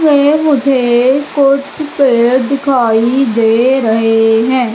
ये मुझे कुछ पेड़ दिखाई दे रहे हैं।